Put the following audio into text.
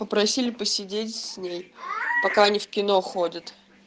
попросили посидеть с ней пока они в кино ходят